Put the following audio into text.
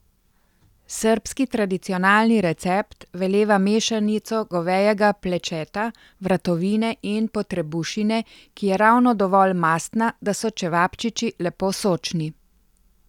Srbski tradicionalni recept veleva mešanico govejega plečeta, vratovine in potrebušine, ki je ravno dovolj mastna, da so čevapčiči lepo sočni.